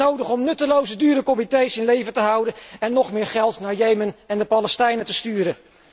Is het nodig om nutteloze dure comités in leven te houden en nog meer geld naar Jemen en de Palestijnen te sturen?